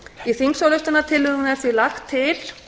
í þingsályktunartillögunni er því lagt til